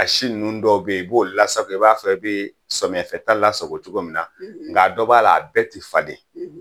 A si ninnu dɔw bɛ yen i b'o lasago i b'a fɔ i bɛ samiyɛfɛta lasago cogo min na nka dɔ b'a la a bɛɛ tɛ falen